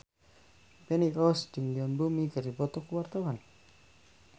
Feni Rose jeung Yoon Bomi keur dipoto ku wartawan